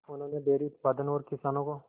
उन्होंने डेयरी उत्पादन और किसानों को